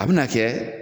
A bɛna kɛ